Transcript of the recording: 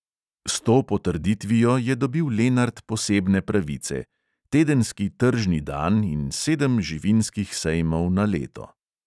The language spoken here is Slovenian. S to potrditvijo je dobil lenart posebne pravice: tedenski tržni dan in sedem živinskih sejmov na leto.